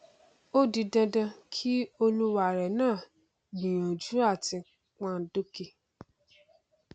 ó di dandan kí olúwarẹ náà gbìyànjú àti pọnọn dókè